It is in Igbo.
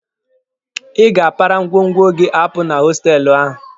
Ị ga-apara ngwongwo gị apụ na hostelụ ahụ!